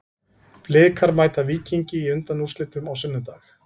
Blikar mæta Víkingi í undanúrslitum á sunnudag.